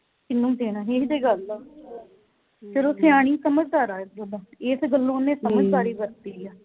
ਕਿਹਨੂੰ ਦੇਣਾ ਹੀ ਇਹੋ ਤੇ ਗੱਲ ਆ ਚਲੋ ਸਿਆਣੀ ਸਮਝਦਾਰ ਆ ਇਸ ਗਲੋਂ ਇਸ ਗਲੋਂ ਉਹਨੇ ਸਮਝਦਾਰੀ ਵਰਤੀ ਆ